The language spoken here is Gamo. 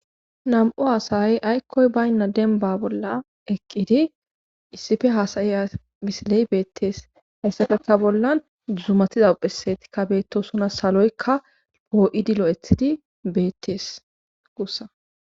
Nam'u haasayay aykkoy baynna denba bolla eqqidi issife haasayiya misiley beettees hayssafeta bollan dzumatiza phesetikka beettosuna saloykka boo'idi lo'ethidi beettees guussa